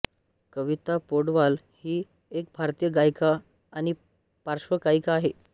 कविता पौडवाल ही एक भारतीय गायिका व पार्श्वगायिका आहे